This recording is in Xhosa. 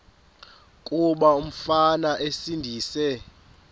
kuba umfana esindise